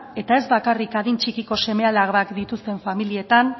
eta ez bakarrik adin txikiko seme alabak dituzten familietan